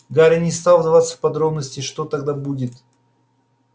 гарри не стал вдаваться в подробности что тогда будет